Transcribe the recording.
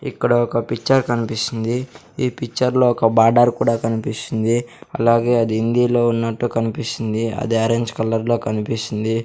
ఇక్కడ ఒక పిక్చర్ కనిపిస్తుంది ఈ పిక్చర్లో ఒక బార్డార్ కూడా కనిపిస్తుంది అలాగే అది హిందీలో ఉన్నట్టు కనిపిస్తుంది అది ఆరెంజ్ కలర్లో కనిపిస్తుంది.